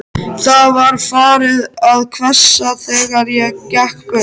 Það var farið að hvessa, þegar ég gekk burt.